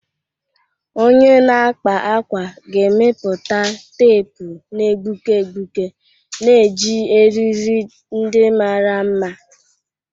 Onye na-akpa ákwà ga-emepụta teepu na-egbuke egbuke na-eji eriri ndị mara mma.